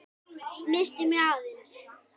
Missti mig aðeins.